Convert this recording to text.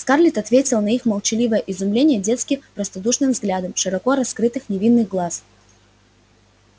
скарлетт ответила на их молчаливое изумление детски простодушным взглядом широко раскрытых невинных глаз